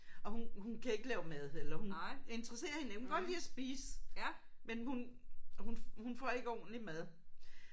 Og hun hun kan ikke lave mad eller hun interesserer hende hun kan godt lide at spise men hun hun hun får ikke ordentlig mad